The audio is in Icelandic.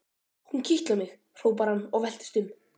Hún kitlar mig! hrópar hann og veltist um.